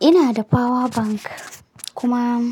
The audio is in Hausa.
Ina da power bank kuma